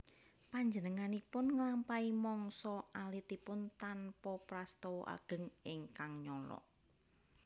Panjenenganipun nglampahi mangsa alitipun tanpa prastawa ageng ingkang nyolok